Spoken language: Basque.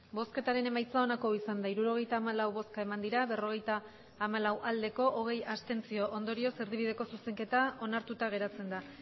emandako botoak hirurogeita hamalau bai berrogeita hamalau abstentzioak hogei ondorioz erdibideko zuzenketa onartuta geratzen da